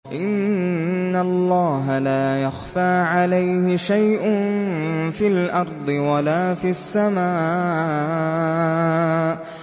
إِنَّ اللَّهَ لَا يَخْفَىٰ عَلَيْهِ شَيْءٌ فِي الْأَرْضِ وَلَا فِي السَّمَاءِ